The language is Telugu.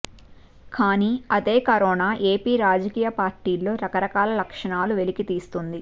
కానీ అదే కరోనా ఏపీ రాజకీయ పార్టీల్లో రకరకాల లక్షణాలు వెలికితీస్తోంది